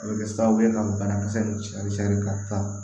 A bɛ kɛ sababu ye ka banakisɛ ninnu cɛri ka taa